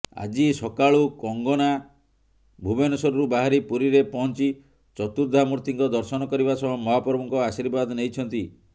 ଆଜି ସକାଳୁ କଙ୍ଗନା ଭୁବନେଶ୍ୱରରୁ ବାହାରି ପୁରୀରେ ପହଞ୍ଚି ଚତୁର୍ଦ୍ଧାମୂର୍ତ୍ତିଙ୍କ ଦର୍ଶନ କରିବା ସହ ମହାପ୍ରଭୁଙ୍କ ଆଶୀର୍ବାଦ ନେଇଛନ୍ତି